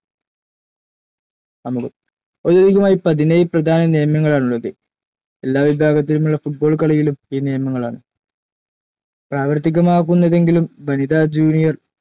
ആമുഖം ഔദ്യോഗികമായി പതിനേഴ്‌ പ്രധാന നിയമങ്ങളാണുളളത്‌. എല്ലാ വിഭാഗത്തിലുമുളള football കളിയിലും ഈ നിയമങ്ങളാണ്‌ പ്രാവർത്തികമാകുന്നതെങ്കിലും വനിതാ, ജൂണിയർ